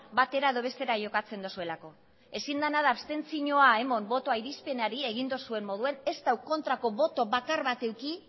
batera edo bestera jokatzen duzuelako ezin dena da abstentzioa eman botoa irizpenari egin duzuen moduan ez du kontrako boto bakar bat eduki